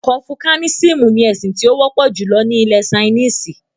“Kọnfúsúánísìmú” ní ẹ̀sìn tí ó wọ́pọ̀ júlọ ni ilẹ̀-Sainísì.